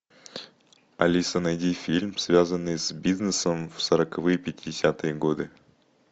алиса найди фильм связанный с бизнесом в сороковые пятидесятые годы